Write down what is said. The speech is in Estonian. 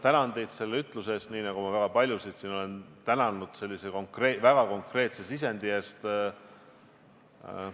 Tänan teid selle ütluse eest, nii nagu ma väga paljusid siin olen tänanud sellise väga konkreetse sisendi eest.